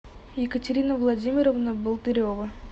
екатерина владимировна болдырева